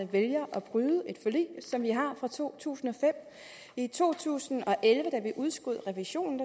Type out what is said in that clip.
vælger at bryde et forlig som vi har fra to tusind og fem i to tusind og elleve da vi udskød revisionen